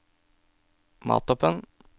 Mathopen